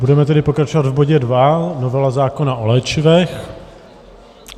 Budeme tedy pokračovat v bodě 2, novela zákona o léčivech.